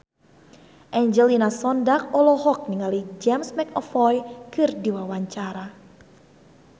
Angelina Sondakh olohok ningali James McAvoy keur diwawancara